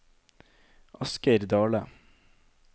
Asgeir Dahle